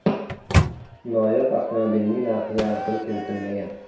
Noyob avtomobilning narxiga aniqlik kiritilmagan.